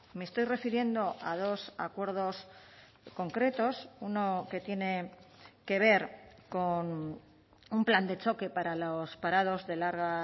me estoy refiriendo a dos acuerdos concretos uno que tiene que ver con un plan de choque para los parados de larga